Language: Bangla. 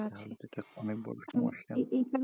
আছে তাহলে তো এটা অনেক বড়ো সমস্যা এই এই